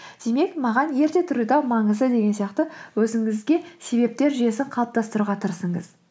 демек маған ерте тұру да маңызды деген сияқты өзіңізге себептер жүйесін қалыптастыруға тырысыңыз